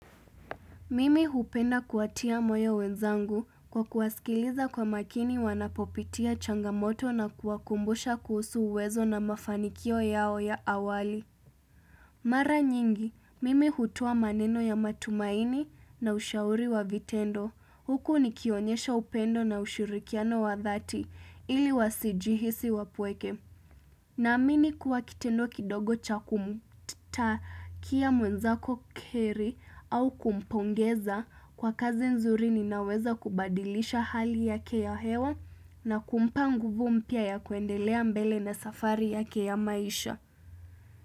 Mimi hupenda kuatia moyo wenzangu kwa kuwasikiliza kwa makini wanapopitia changamoto na kuakumbusha kusu uwezo na mafanikio yao ya awali. Mara nyingi, mimi hutoa maneno ya matumaini na ushauri wa vitendo. Huku nikionyesha upendo na ushirikiano wa dhati ili wa sijihisi wapweke. Na amini kuwa kitendo kidogo cha kumuta kia mwenzako keri au kumpongeza kwa kazi nzuri ninaweza kubadilisha hali yake ya hewa. Na kumpa nguvu mpia ya kuendelea mbele na safari yake ya maisha.